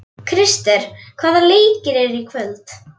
Krister, hvaða leikir eru í kvöld?